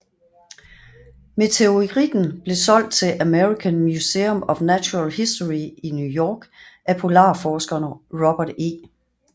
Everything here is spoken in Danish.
Meteoritten blev solgt til American Museum of Natural History i New York af polarforskeren Robert E